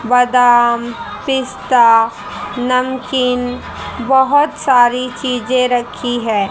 बादाम पिस्ता नमकीन बहोत सारी चीजें रखी है।